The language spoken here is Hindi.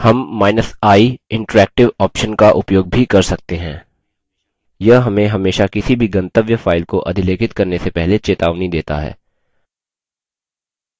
हमi interactive option का उपयोग भी कर सकते हैं यह हमें हमेशा किसी भी गंतव्य file को अधिलेखित करने से पहले चेतावनी देता है